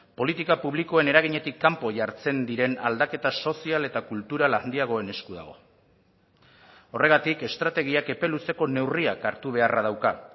politika publikoen eraginetik kanpo jartzen diren aldaketa sozial eta kultural handiagoen esku dago horregatik estrategiak epe luzeko neurriak hartu beharra dauka